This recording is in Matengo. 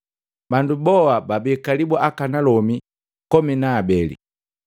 Bandu boha babii kalibu akanalomi kome na abele.